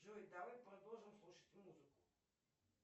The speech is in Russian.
джой давай продолжим слушать музыку